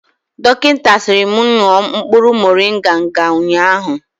Dọkịta sịrị mụ ṅụọ mkpụrụ morịnga nga ụnyaahụ